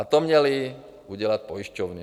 A to měly udělat pojišťovny.